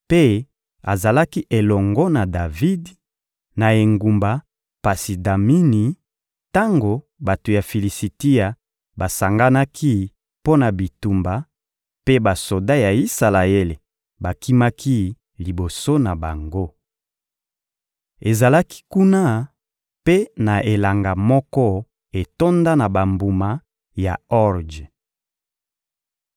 mpe azalaki elongo na Davidi, na engumba Pasi-Damini, tango bato ya Filisitia basanganaki mpo na bitumba, mpe basoda ya Isalaele bakimaki liboso na bango. Ezalaki kuna mpe na elanga moko etonda na bambuma ya orje.